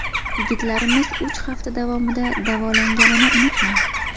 Yigitlarimiz uch hafta davomida davolanganini unutmang.